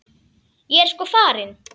Ég er sko farin.